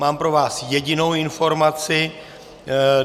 Mám pro vás jedinou informaci.